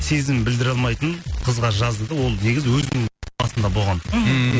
сезімін білдіре алмайтын қызға жазды да ол негізі өзінің басында болған мхм ммм